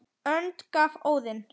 önd gaf Óðinn